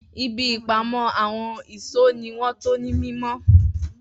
Ibi ìpamọ́ àwọn ìṣó ni wọ́n tò ní mímọ́